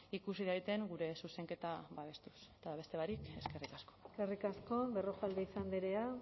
ikusi daiten gure zuzenketa babestuz eta beste barik eskerrik asko eskerrik asko berrojalbiz andrea